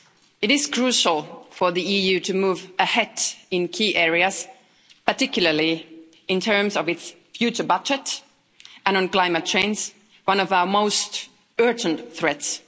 It is crucial for the EU to move ahead in key areas, particularly in terms of its future budget and on climate change, one of our most urgent threats.